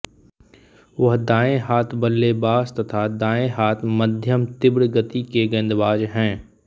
वह दाएँ हाथ बल्लेबाज तथा दाएँ हाथ मध्यमतिब्र गति के गेंदबाज हैं